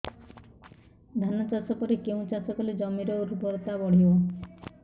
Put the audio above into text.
ଧାନ ଚାଷ ପରେ କେଉଁ ଚାଷ କଲେ ଜମିର ଉର୍ବରତା ବଢିବ